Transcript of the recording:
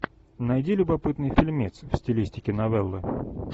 найди любопытный фильмец в стилистике новеллы